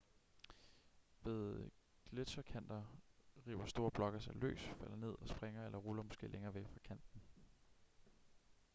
ved gletscherkanter river store blokke sig løs falder ned og springer eller ruller måske længere væk fra kanten